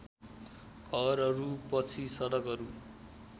घरहरूपछि सडकहरू